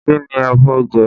Kí ni ẹ fẹ́ jẹ?